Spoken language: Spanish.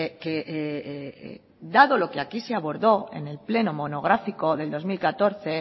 que dado lo que aquí se abordó en el pleno monográfico del dos mil catorce